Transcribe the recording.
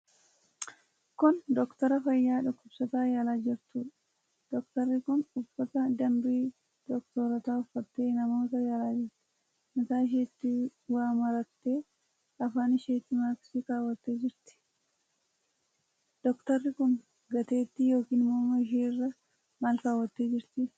Kun doktara fayyaa dhukkubsataa yaalaa jirtuudha. Doktarri kun uffata dambii doktorootaa uffattee namootaa yaalaa jirti. Mataa isheetti waa marattee, afaan isheetti maaskii kaawwattee jirti. Doktarri kun gateetti yookiin morma isheerra maal kaawwattee jirti?